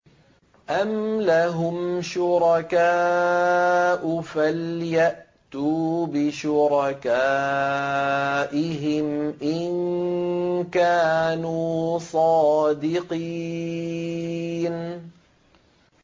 أَمْ لَهُمْ شُرَكَاءُ فَلْيَأْتُوا بِشُرَكَائِهِمْ إِن كَانُوا صَادِقِينَ